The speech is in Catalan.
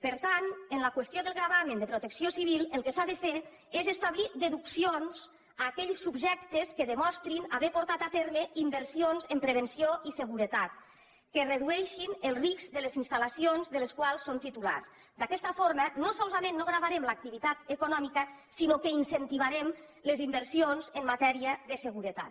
per tant en la qüestió del gravamen de protecció civil el que s’ha de fer és establir deduccions a aquells subjectes que demostrin haver portat a terme inversions en prevenció i seguretat que redueixin el risc de les instal·lacions de les quals són titulars d’aquesta forma no solament no gravarem l’activitat econòmica sinó que incentivarem les inversions en matèria de seguretat